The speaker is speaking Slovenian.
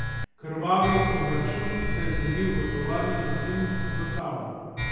Krvavi obračun se je zgodil v tovarni kosilnic za travo.